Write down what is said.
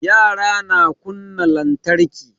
Yara na kunna lantarki